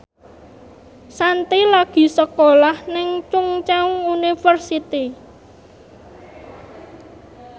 Shanti lagi sekolah nang Chungceong University